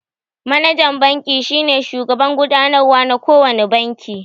Manajan banki shine shugaban gudanarwa na kowane banki